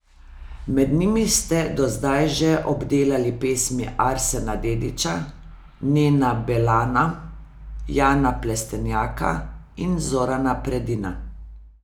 Med njimi ste do zdaj že obdelali pesmi Arsena Dedića, Nena Belana, Jana Plestenjaka in Zorana Predina.